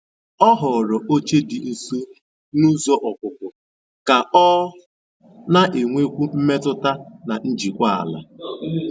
Ọ họ̀ọ̀rọ́ óchè dị́ nsó na ụ́zọ́ ọ́pụ̀pụ́ kà ọ na-ènwékwu mmètụ́tà na njìkwàla.